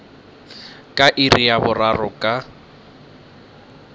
ka iri ya boraro ka